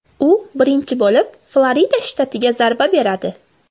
U birinchi bo‘lib Florida shtatiga zarba beradi.